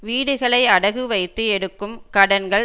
வீடுகளை அடகு வைத்து எடுக்கும் கடன்கள்